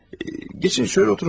Keçin, şölə oturun, lütfən.